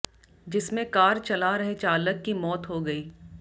जिसमें कार चला रहे चालक की मौत हो गई